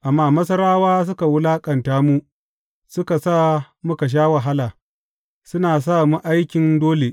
Amma Masarawa suka wulaƙanta mu suka sa muka sha wahala, suna sa mu aikin dole.